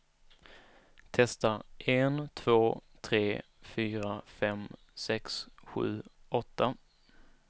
Testar en två tre fyra fem sex sju åtta.